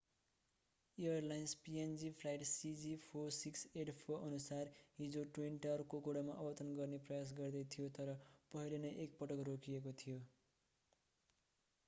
Airlines png flight cg4684अनुसार हिजो ट्विनटर कोकोडामा अवतरण गर्ने प्रयास गर्दै थियो तर पहिले नै एकपटक रोकिएको थियो।